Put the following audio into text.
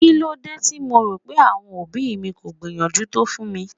Kílódé tí mo rò pé àwọn òbí mi kò gbìyànjú tó fún mi?